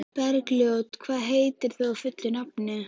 Bergljót, hvað heitir þú fullu nafni?